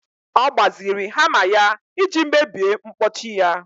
Ọ gbaziri hama ya iji mebie mkpọchi ya